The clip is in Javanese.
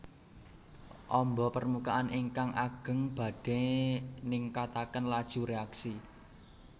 Ombo permukaan ingkang ageng badhe ningkataken laju reaksi